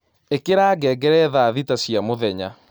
ĩkĩra ngengere thaa thĩta cĩa mũthenya